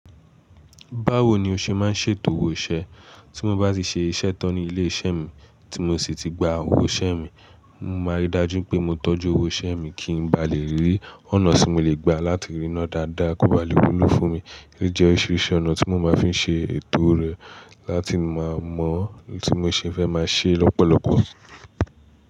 Báwo ni o ṣe máa ń ṣètò owó iṣẹ́? Tí mo bá ti ṣe iṣẹ́ tán ní ilé iṣẹ́ mi tí mo sì ti gba owó iṣẹ́ mi, mo máa ri dájú pé mo tọ́jú owó iṣẹ́ mi kí n ba lè rí ọ̀nà tí mo lè gba láti ríná dáadáa kó ba lè wúlò fún mi. Kí jẹ́ oríṣiríṣi ọ̀nà tí mo máa fi ń ṣe ètò rẹ láti máa mọ ohun tí mo ṣe fẹ́ máa ṣe lọ́pọ̀lọpọ̀.